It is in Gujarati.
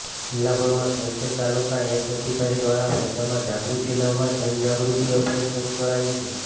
જિલ્લાભરમાં ઠેરઠેર તાલુકા હેલ્થ અધિકારી દ્વારા પ્રજામાં જાગૃતિ લાવવા જનજાગૃતિ અભિયાન શરૂ કરાયુ છે